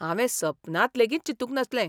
हांवें सपनांत लेगीत चिंतूंक नासले.